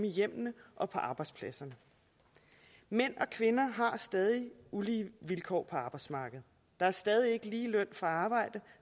i hjemmene og på arbejdspladserne mænd og kvinder har stadig ulige vilkår på arbejdsmarkedet der er stadig ikke lige løn for arbejde